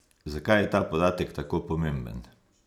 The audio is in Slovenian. Zakaj je ta podatek tako pomemben?